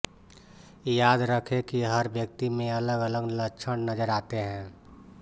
याद रखें कि हर व्यक्ति में अलग अलग लक्षण नज़र आते हैं